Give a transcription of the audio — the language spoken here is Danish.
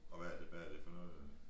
Og hvad er det hvad er det for noget